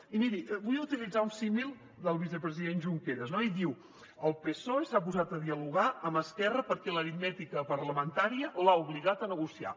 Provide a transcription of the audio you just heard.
i miri vull utilitzar un símil del vicepresident junqueras no i diu el psoe s’ha posat a dialogar amb esquerra perquè l’aritmètica parlamentària l’ha obligat a negociar